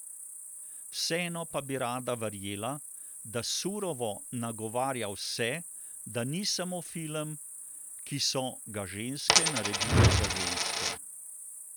Vseeno pa bi rada verjela, da Surovo nagovarja vse, da ni samo film, ki so ga ženske naredile za ženske.